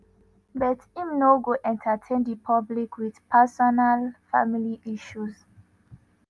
but im no go entertain di public wit ‘personal family issues’.